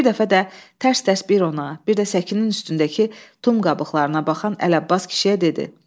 Bir dəfə də tərs-tərs bir ona, bir də səkinin üstündəki tum qabıqlarına baxan Əli Abbas kişiyə dedi: